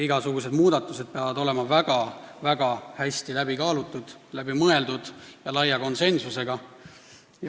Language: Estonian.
Igasugused muudatused peavad olema väga-väga hästi läbi kaalutud, läbi mõeldud ja laia konsensusega.